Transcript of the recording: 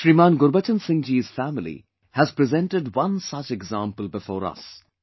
ShrimanGurbachan Singh ji's family has presented one such example before us